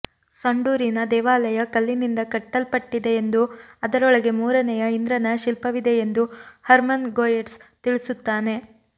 ಸಂಡೂರಿನ ದೇವಾಲಯ ಕಲ್ಲಿನಿಂದ ಕಟ್ಟಲ್ಪಟ್ಟಿದೆಯೆಂದೂ ಅದರೊಳಗೆ ಮೂರನೆಯ ಇಂದ್ರನ ಶಿಲ್ಪವಿದೆಯೆಂದೂ ಹರ್ಮನ್ ಗೊಯೆಟ್ಸ್ ತಿಳಿಸುತ್ತಾನೆ